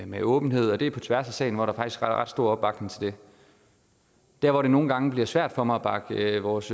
med åbenhed og det er på tværs af salen at der faktisk er ret stor opbakning til det der hvor det nogle gange blive svært for mig at bakke vores